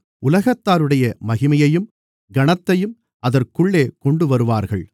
உலகத்தாருடைய மகிமையையும் கனத்தையும் அதற்குள்ளே கொண்டுவருவார்கள்